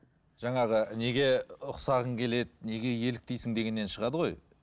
жаңағы неге ұқсағың келеді неге еліктейсің дегеннен шығады ғой